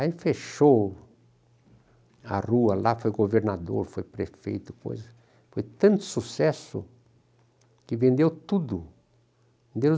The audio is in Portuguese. Aí fechou a rua, lá foi governador, foi prefeito, foi tanto sucesso que vendeu tudo, deu